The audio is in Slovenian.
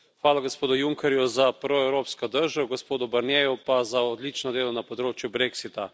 Hvala gospodu Junckerju za proevropsko držo, gospodu Barnierju pa za odločno delo na področju brexita.